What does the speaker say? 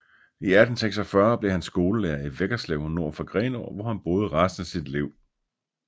I 1846 blev han skolelærer i Veggerslev nord for Grenå hvor han boede resten af sit liv